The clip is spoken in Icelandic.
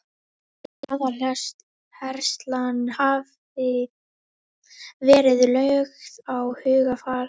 Hann segir að aðaláherslan hafi verið lögð á hugarfarið.